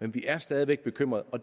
men vi er stadig væk bekymrede og det